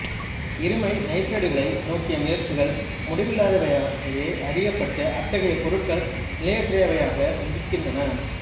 இருமை நைத்திரைடுகளை நோக்கிய முயற்சிகள் முடிவில்லாதவையாகவே அறியப்பட்டு அத்தகைய பொருட்கள் நிலையற்றவையாக இருக்கின்றன